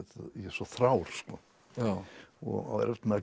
svo þrár sko og á erfitt með að